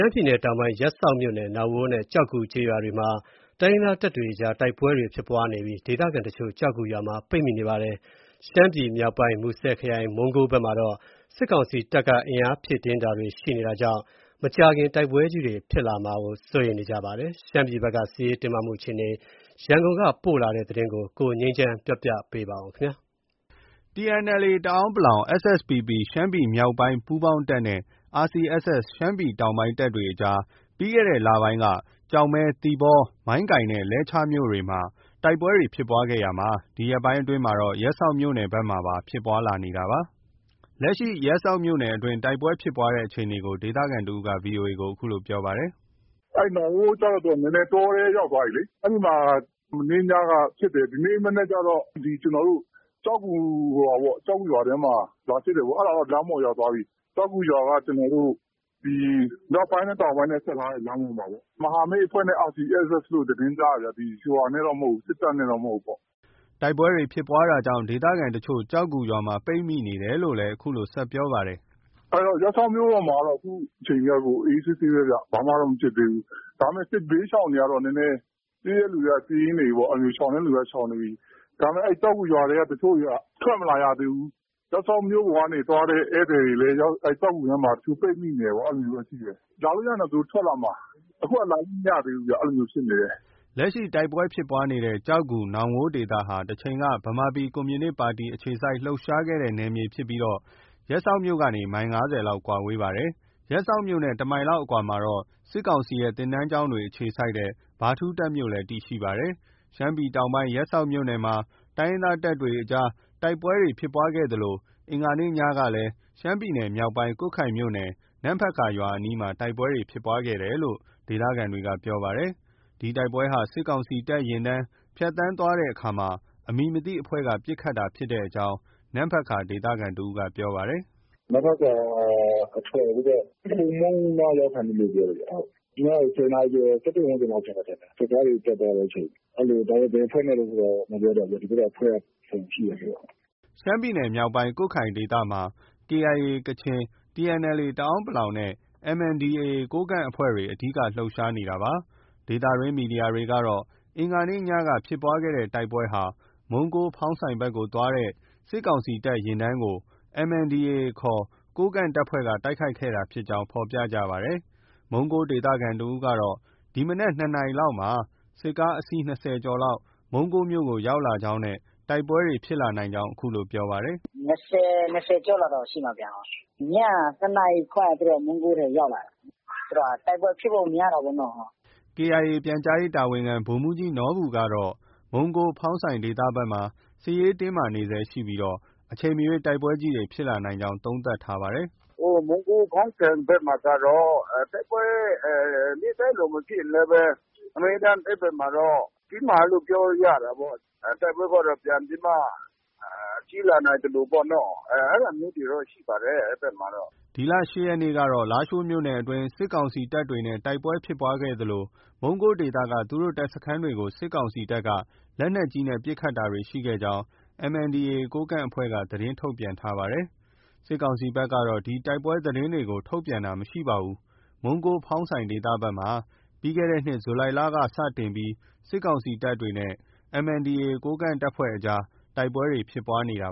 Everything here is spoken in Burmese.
မ်းပြည်နယ်တောင်ပိုင်း ရပ်စောက်မြို့နယ် နောင်ဝိုးနဲ့ ကျောက်ဂူကျေးရွာမှာ တိုင်းရင်းသားတပ်တွေကြားတိုက်ပွဲဖြစ်ပွားနေပြီး ဒေသခံတချို့ ကျောက်ဂူရွာမှာ ပိတ်မိနေပါတယ်။ ရှမ်းပြည်နယ်မြောက်ပိုင်း မူဆယ်ခရိုင် မုံးကိုးဘက်မှာတော့ စစ်ကောင်စီတပ်က အင်အားဖြည့်တင်းတာတွေ ရှိနေတာကြောင့် မကြာခင်တိုက်ပွဲကြီးတွေ ထပ်မံဖြစ်ပွားလာဖွယ်ရှိနေပါတယ်။ ရှမ်းပြည်နယ်ဘက်က စစ်ရေးတင်းမာမှုအခြေအနေ ရန်ကုန်ကသတင်းရေးသားပေးပို့ထားတာကို ကိုငြိမ်းချမ်းက တင်ပြပေးထားပါတယ်။ TNLA တအန်း(ပလောင်)၊ SSPP ရှမ်းပြည်မြောက်ပိုင်းပူးပေါင်းတပ်နဲ့ RCSS ရှမ်းပြည်တောင်ပိုင်းတပ်တွေကြားမှာ ပြီးခဲ့တဲ့လပိုင်းက ကျောက်မဲ၊ သီပေါ၊ မိုင်းကိုင်နဲ့ လဲချားမြို့နယ်တွေမှာ တိုက်ပွဲဖြစ်ပွားခဲ့ရာက ဒီရက်ပိုင်းအတွင်းမှာတော့ ရပ်စောက်မြို့နယ်ဘက်မှာပါ ဖြစ်ပွားလာနေတာပါ။ လက်ရှိ ရပ်စောက်မြို့နယ်အတွင်း တိုက်ပွဲဖြစ်ပွားတဲ့အခြေအနေကို ဒေသခံတဦးက VOA ကို အခုလို ပြောပါတယ်။ “နောင်ဝိုးကျတော့ နည်းနည်းတောထဲ ရောက်သွားပြီလေ။ အဲဒီမှာ မနေ့ညက ဖြစ်တယ်။ ဒီနေ့ မနက်ကျတော့ ကျနော်တို့ ကျောက်ဂူရွာထဲမှာ လာဖြစ်တယ်ပေါ့။ အဲဒါတော့ လမ်းပေါ်ရောက်သွားပြီ။ ကျောက်ဂူရွာက ကျနောတို့ မြောက်ပိုင်းနဲ့ တောင်ပိုင်းနဲ့ ဆက်ထားတဲ့လမ်းပေါ်မှာပေါ့။ မဟာမိတ်အဖွဲ့နဲ့ RCSS လို့ သတင်းကြားတယ်ဗျ။ စစ်တပ်နဲ့တော့မဟုတ်ဘူး။ ” တိုက်ပွဲဖြစ်ပွားတာကြောင့် ဒေသခံတချို့ ကျောက်ဂူရွာမှာ ပိတ်မိနေတယ်လို့လည်း အခုလို ဆက်ပြောပါတယ်။ “ရပ်စောက်မြို့ပေါ်မှာတော့ အခုချိန်ထိက အေးအေးဆေးဆေးပဲဗျ။ ဘာမှတော့ မဖြစ်သေးဘူး။ ဒါပေမယ့် စစ်ဘေးရှောင်တွေကတော့ နည်းနည်းပြေးတဲ့လူတွေက ပြေးနေပြီ။ ရှောင်တဲ့လူတွေက ရှောင်နေပြီ။ ဒါပေမယ့် ကျောက်ဂူရွာထဲက တချို့တွေက ထွက်မလာရသေးဘူး။ ရပ်စောက်မြို့ကနေ သွားတဲ့ ဧည့်သည်တွေလည်း ကျောက်ဂူမှာ ပိတ်မိနေတယ်ပေါ့။ အဲလိုမျိုးတော့ ရှိတယ်။ လာလို့ရရင်တော့ သူတို့ ထွက်လာမှာ အခုက လာလို့ မရသေးဘူးဗျ။ အဲလိုမျိုးဖြစ်နေတယ်။ ” လက်ရှိ တိုက်ပွဲဖြစ်ပွားတဲ့ ကျောက်ဂူ၊ နောင်ဝိုးဒေသဟာ တချိန်က ဗမာပြည်ကွန်မြူနစ်ပါတီ အခြေစိုက်လှုပ်ရှားခဲ့တဲ့နယ်မြေဖြစ်ပြီး ရပ်စောက်မြို့ကနေ မိုင် ၅၀ လောက် ကွာဝေးတာဖြစ်ပါတယ်။ ရပ်စောက်မြို့နဲ့ တမိုင်လောက်အကွာမှာတော့ စစ်ကောင်စီရဲ့ သင်တန်းကျောင်းတွေ အခြေစိုက်တဲ့ ဗထူးတပ်မြို့ တည်ရှိနေတာဖြစ်ပါတယ်။ ရှမ်းပြည်နယ်တောင်ပိုင်း ရပ်စောက်မြို့နယ်မှာ တိုင်းရင်းသားတပ်တွေအကြားတိုက်ပွဲဖြစ်ပွားခဲ့သလို အင်္ဂါနေ့ညက ရှမ်းပြည်နယ်မြောက်ပိုင်း ကွတ်ခိုင်မြို့နယ် နမ့်ဖတ်ကာရွာအနီးမှာလည်း တိုက်ပွဲဖြစ်ပွားခဲ့တယ်လို့ ဒေသခံတွေက ပြောပါတယ်။ ဒီတိုက်ပွဲဟာ စစ်ကောင်စီတပ်ယာဉ်တန်းဖြတ်သန်းသွားစဉ် အမည်မသိအဖွဲ့က ပစ်ခတ်တာဖြစ်ကြောင်း နမ့်ဖတ်ကာက ဒေသခံတဦးက ပြောပါတယ်။ “နမ့်ဖတ်ကာအထွက် ဟိုဖက် ခိုမုန်းနားရောက်ခါနီးလို့ ပြောတယ်ဗျ။ ည ၁၀နာရီကျော် ၁၁ ဝန်းကျင်လောက် ဖြစ်မယ်ထင်တယ်။ စစ်ကားတွေ တက်သွားတဲ့အချိန်။ ဒါပေမယ့် ဘယ်အဖွဲ့နဲ့ ဆိုတာ မပြောတတ်ဘူးဗျ။ ဒီဘက်ကအဖွဲ့က အစုံရှိတယ်ဆိုတော့။” ရှမ်းပြည်နယ်မြောက်ပိုင်း ကွတ်ခိုင်ဒေသမှာ KIA ကချင်၊ TNLA တအန်း(ပလောင်) နဲ့ MNDAA ကိုးကန့်အဖွဲ့တွေ အဓိက လှုပ်ရှားနေတာဖြစ်ပါတယ်။ ဒေသတွင်း သတင်းမီဒီယာတွေကတော့ အင်္ဂါနေ့ညက ဖြစ်ပွားတဲ့တိုက်ပွဲဟာ မုံးကိုး၊ ဖောင်းဆိုင်ဘက်ကို သွားတဲ့စစ်ကောင်စီတပ် ယာဉ်တန်းကို MNDAA ခေါ် ကိုးကန့်တပ်ဖွဲ့က တိုက်ခိုက်ခဲ့တာဖြစ်ကြောင်း ဖော်ပြကြ ပါတယ်။ မုံးကိုးဒေသခံတဦးကတော့ ဒီမနက် ၂ နာရီလောက်မှာ စစ်ကားအစီး ၂၀ ကျော်လောက် မုံးကိုးမြို့ကို ရောက်ရှိလာကြောင်းနဲ့ တိုက်ပွဲတွေဖြစ်လာနိုင်ကြောင်း အခုလို ပြောပါတယ်။ “နှစ်ဆယ်၊ နှစ်ဆယ်ကျော်လောက်တော့ ရှိမှာဗျ။ ညက ၂ နာရီခွဲလောက်မှာ သူတို့မုံးကိုးထဲကို ရောက်လာတာ။ တိုက်ပွဲဖြစ်ဖို့ များတာပေါ့နော။” KIA ရဲ့ ပြန်ကြားရေးတာဝန်ခံ ဗိုလ်မှူးကြီးနော်ဘူကတော့ မုံးကိုး၊ ဖောင်းဆိုင်ဒေသဘက်မှာ စစ်ရေးတင်းမာနေဆဲရှိပြီး အချိန်မရွေးတိုက်ပွဲကြီးတွေ ဖြစ်လာနိုင်ကြောင်း သုံးသပ်ထားပါတယ်။ “မုံးကိုး၊ ဖောင်းဆိုင်ဘက်မှာကတော့ တိုက်ပွဲနေ့တိုင်းလို မဖြစ်ရင်လည်းဘဲ အမြဲတမ်း အဲဒီဘက်မှာတော့ တင်းမာတယ်လို့ ပြောလို့ရတာပေါ့။ တိုက်ပွဲက ပြန်ပြီးမှ ကြီးလာနိုင်သလိုပေါ့နော။ အဲဒါမျိုးတွေတော့ ရှိပါတယ်။ အဲဒီဘက်မှာ။” ဒီလ ၈ ရက်နေ့ကတော့ လားရှိုးမြို့နယ်အတွင်းမှာ စစ်ကောင်စီတပ်နဲ့တိုက်ပွဲဖြစ်ပွားခဲ့သလို မုံးကိုးဒေသက သူတို့ တပ်စခန်းတွေကို စစ်ကောင်စီတပ်က လက်နက်ကြီးနဲ့ ပစ်ခတ်တာတွေ ရှိခဲ့ကြောင်း MNDAA ကိုးကန့်အဖွဲ့က သတင်းထုတ်ပြန်ထားပါတယ်။ စစ်ကောင်စီဘက်ကတော့ ဒီတိုက်ပွဲသတင်းတွေကို ထုတ်ပြန်တာမရှိပါဘူး။ မုံးကိုး၊ ဖောင်းဆိုင်ဒေသဘက်မှာ ပြီးခဲ့တဲ့နှစ် ဇူလိုင်လလောက်က စတင်ပြီး စစ်ကောင်စီတပ်နဲ့ MNDAA ကိုးကန့်တပ်အကြားတိုက်ပွဲဖြစ်ပွားခဲ့တာ